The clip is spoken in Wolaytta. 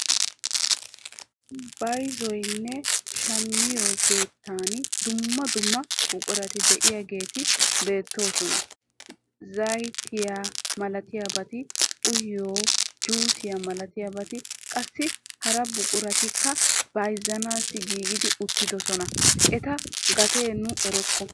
Bayzziyoonne shammiyoo keettan dumma dumma buqurati de'iyaageti beettoosona. zayttiyaa malatiyaabati uyiyoo juusiyaa malatiyaabati qassi hara buquratikka bayzzuwaawu giigi uttidoosona. Eta gatiyaa nu erokko.